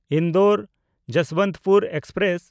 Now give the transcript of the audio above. ᱤᱱᱫᱳᱨ–ᱡᱚᱥᱵᱚᱱᱚᱛᱚᱯᱩᱨ express